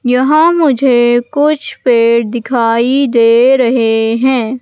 यहां मुझे कुछ पेड़ दिखाई दे रहे हैं।